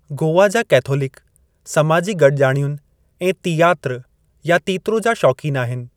गोवा जा कैथोलिक समाजी गडि॒जाणियुनि ऐं तीयात्र या तीत्रो जा शौक़ीन आहिनि।